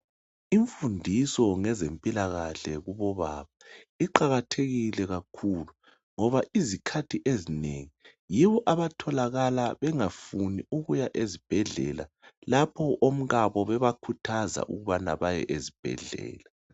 Imfundiso ngezempilakahle kubobaba iqakathekile kakhulu ngoba izikhathi ezinengi yibo abatholakala bengafuni ukuya ezibhedlela lapho omkabo bebakhuthaza ukubana baye ezibhedlela.